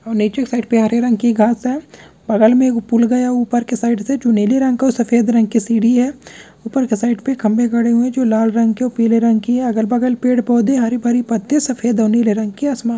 --और नीचे की साइड पर -हरे रंग की घास है बगल में एक पुल गया ऊपर के साइड पे जो नीले रंग के और सफ़ेद रंग के सीढ़ी है ऊपर के साइड पे पर खम्भे गड़े हुए है जो लाल रंग की पीले रंग की है अगल-बगल पेड़-पौधे हरे-भरे पत्ती सफ़ेद और नीले रंग की आसमान--